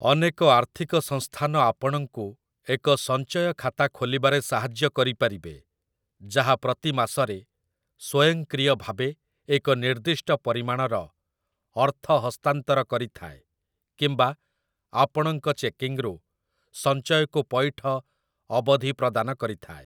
ଅନେକ ଆର୍ଥିକ ସଂସ୍ଥାନ ଆପଣଙ୍କୁ ଏକ ସଞ୍ଚୟ ଖାତା ଖୋଲିବାରେ ସାହାଯ୍ୟ କରିପାରିବେ, ଯାହା ପ୍ରତି ମାସରେ ସ୍ୱୟଂକ୍ରିୟ ଭାବେ ଏକ ନିର୍ଦ୍ଦିଷ୍ଟ ପରିମାଣର ଅର୍ଥ ହସ୍ତାନ୍ତର କରିଥାଏ କିମ୍ବା ଆପଣଙ୍କ ଚେକିଂରୁ ସଞ୍ଚୟକୁ ପଇଠ ଅବଧି ପ୍ରଦାନ କରିଥାଏ ।